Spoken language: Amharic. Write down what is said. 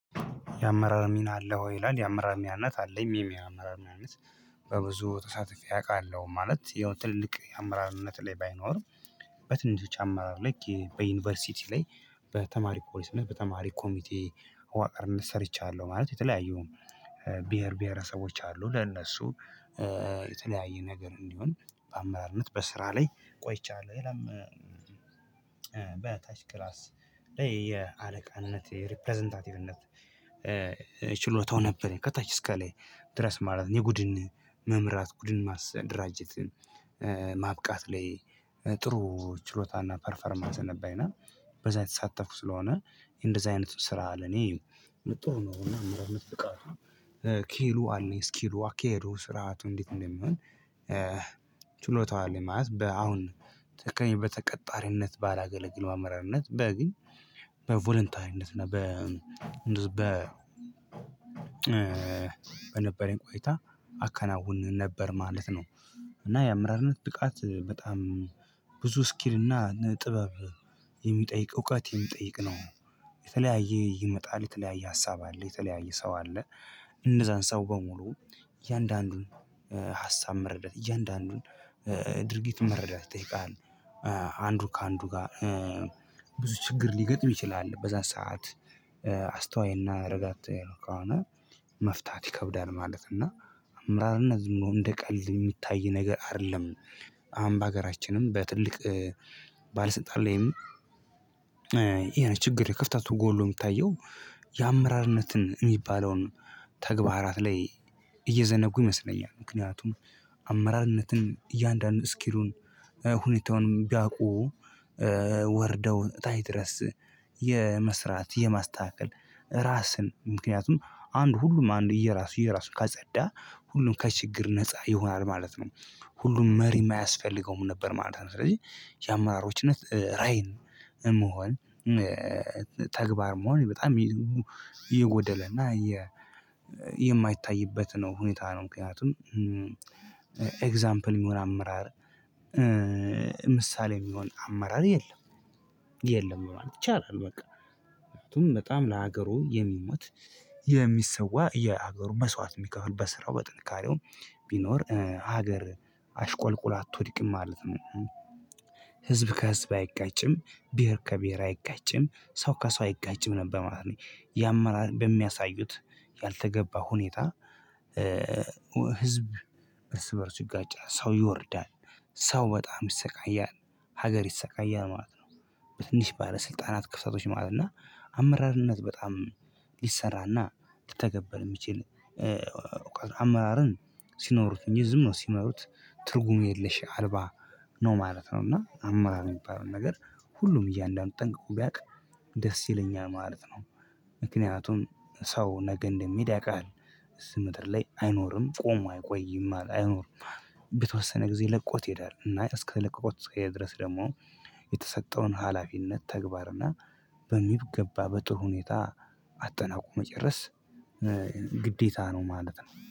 የአመራር ሚና አለህ ወይ? ይላል የአመራር ሚናነት አለኝ ይሄም የአመራር ሚናነት በብዙ ተሳታፌ አውቃለሁ ማለት ያው ትልልቅ አመራርነት ላይ ባይኖርም። በትንሽ አመራር ላይ በዩኒቨርሲቲ ላይ በተማሪ ፖሊስነት በተማሪ ኮሚቴ መዋቀርነት ሰርቻለሁ። ማለት የተለያየውን ብሄር ብሄረሰቦች አሉ ለእነሱ የተለያየ ነገር እንዲሆን በአመራርነት በስራ ላይ ቆይቻለሁ። ሌላም በታች ክላስ ላይ የአለቃነት የሪፕረዘንታቲቭነት ነበር ከታች እስከ ላይ ድረስ ማለት ነው። የጉድን መምራት ጉድን ማደራጀትን ማብቃት ላይ ጥሩ ችሎታና ፐርፈርማንስ ነበርና በዛ የተሳተፉ ስለሆነ እንደዚህ አይነት ስራ ለኔ ጥሩ ነው። እና አመራርነት ብቃቱ ክህሎቱ አለኝ ስኪሉ፣ አካሄዱ፣ ስርዓቱ እንዴት እንደሚሆን ችሎታው አለኝ። ማለት በአሁን ተከሜ በተቀጣሪነት ባላገለግለው አመራርነት በ ግን በቮለንታሪነት እና በ በ በነበረኝ ቆይታ አከናውን ነበር ማለት ነው። እና የአመራርነት ብቃት በጣም ብዙ ስኪል እና ጥበብ የሚጠይቅ እውቀት የሚጠይቅ ነው። የተለያየ ይመጣል የተለያየ ሀሳብ አለ የተለያየ ሰው አለ። እነዛን ሰው በሙሉ እያንዳንዱን ሀሳብ መረዳት እያንዳንዱን ድርጊት መረዳት ይጠይቃል። አንዱ ከአንዱ ጋር ብዙ ችግር ሊገጥም ይችላል በዛ ሰዓት አስተዋይና ረጋት ከሆነ መፍታት ይከብዳል ማለት ነው። እና አምራል እና ዝም እንደ ቀልድ የሚታይ ነገር አይደለም። አሁን ባገራችንም በትልቅ ባለስልጣን ላይም ይሄ ነው ችግር የክፍተቱ ጎሉ የሚታየው የአመራርነትን የሚባለውን ተግባራት ላይ እየዘነጉ ይመስለኛል። ምክንያቱም አመራርነትን እያንዳንዱን ስኪሉን ሁኔታውን ቢያውቁ ወርደው ታይ ድረስ የመስራት የማስተካከል ራስን ምክንያቱም አንድ ሁሉም አንድ የራሱ የራሱ ካጸዳ ሁሉም ከችግር ነፃ ይሆናል ማለት ነው። ሁሉም መሪም አያስፈልገውም ነበር ማለት ነው። ስለዚህ የአመራሮችነት ራይን መሆን ተግባር መሆን በጣም የጎደለና የማይታይበት ነው ሁኔታ ነው። ምክንያቱም ኤግዛምፕል የሚሆን አመራር ምሳሌ የሚሆን አመራር የለም የለም ማለት ይቻላል። በቃ ምክንያቱም በጣም ለሀገሩ የሚሞት የሚሰዋ የሀገሩ መስዋዕት የሚከፍል በስራው በጥንካሬው ቢኖር ሀገር አሽቆልቁላ አትወድቅም ማለት ነው። ህዝብ ከህዝብ አይጋጭም ብሄር ከብሄር አይጋጭም ሰው ከሰው አይጋጭም ነበር ማለት ነው። የአመራር በሚያሳዩት ያልተገባ ሁኔታ ህዝብ እርስ በእርሱ ይጋጫ ሰው ይወርዳል ሰው በጣም ይሰቃያል ሀገር ይሰቃያል ማለት ነው። በትንሽ ባለስልጣናት ክፍተቶች ማለት ነው እና አመራርነት በጣም ሊሰራና ሊተገበል የሚችል አመራርን ሲኖሩት እንጂ ዝም ነው ሲመሩት ትርጉም የለሽ አልባ ነው ማለት ነው። እና አማራጭ የሚባለው ነገር ሁሉም እያንዳንዱ ጠንቅቆ ቢያውቅ ደስ ይለኛል ማለት ነው። ምክንያቱም ሰው ነገ እንደሚሄድ ያቅሃል እዚህ ምድር ላይ አይኖርም ቆሞ አይቆይም አይኖርም። በተወሰነ ጊዜ ለቆት ይሄዳል። ለቆት እስከሄደ ድረስ ደግሞ የተሰጠውን ሀላፊነት ተግባርና በሚገባ በጥሩ ሁኔታ አጠናቆ መጨረስ ግዴታ ነው። ማለት ነው